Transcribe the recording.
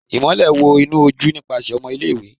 Imọlẹ wọ inu oju nipasẹ ọmọ ile-iwe